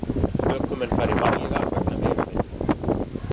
Ökumenn fari varlega vegna vegavinnu